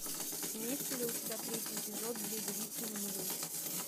имеется ли у тебя третий эпизод две девицы на мели